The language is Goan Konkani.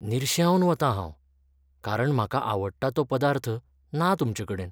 निर्शेवन वतां हांव, कारण म्हाका आवडटा तो पदार्थ ना तुमचेकडेन.